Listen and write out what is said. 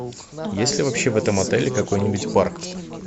есть ли вообще в этом отеле какой нибудь парк